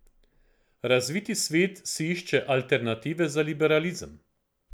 Razviti svet si išče alternative za liberalizem.